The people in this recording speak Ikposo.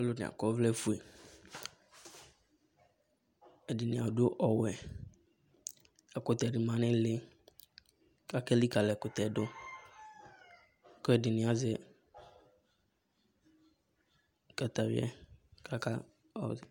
Alʋ nɩ akɔ ɔvlɛ ofue, ɛdɩnɩ adʋ ɔwɛ ɛkʋtɛ dɩ ma nʋ ɩlɩ kʋ ake lɩkǝlɩ ɛkʋtɛ yɛ dʋ kʋ ɛdɩnɩ azɛ katawʋɩa